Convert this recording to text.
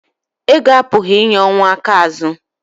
ego apụghị inye ọnwụ aka azu